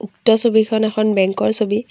উক্ত ছবিখন এখন বেঙ্ক ৰ ছবি।